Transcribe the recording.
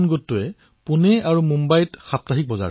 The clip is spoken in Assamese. পুণে আৰু মুম্বাইত এওঁলোকে কৃষক সাপ্তাহিক বজাৰ নিজে চলায়